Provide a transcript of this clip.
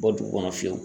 Bɔ dugu kɔnɔ fiyewu